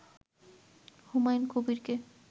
Humayun কবিরকে